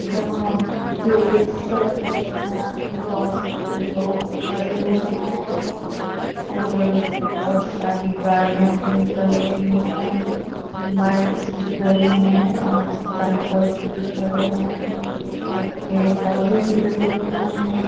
यहाँ पे सड़क के किनारे बहोत सारे लोग खड़े हुए हैं और बहोत सारी गाड़ियां भी निकल रही हैं। बाइक्स भी खड़ी हैं और साइकल्स भी खड़े हैं और पेड़ पौधे भी लगे हुए हैं।